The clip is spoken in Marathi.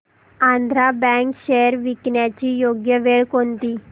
आंध्रा बँक शेअर्स विकण्याची योग्य वेळ कोणती